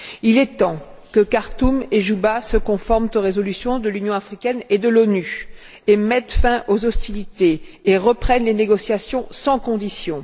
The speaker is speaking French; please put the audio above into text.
Il est temps que Khartoum et Djouba se conforment aux résolutions de l'Union africaine et des Nations unies, mettent fin aux hostilités et reprennent les négociations sans conditions.